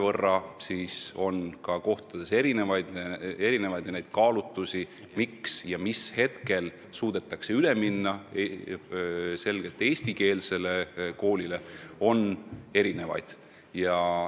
Järelikult on kohalikud olud erinevad ja kaalutlusi, millal suudetakse ühes või teises paigas üle minna eestikeelsele koolile, on erinevaid.